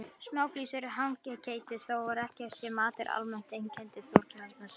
Smáflís af hangiketi var þó ekki sá matur sem almennt einkenndi Þorláksmessu.